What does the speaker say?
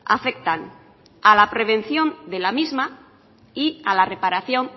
afectan a la prevención de la misma y a la reparación